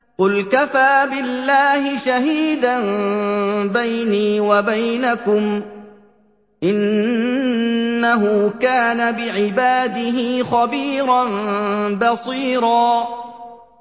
قُلْ كَفَىٰ بِاللَّهِ شَهِيدًا بَيْنِي وَبَيْنَكُمْ ۚ إِنَّهُ كَانَ بِعِبَادِهِ خَبِيرًا بَصِيرًا